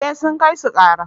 eh sun kai su kara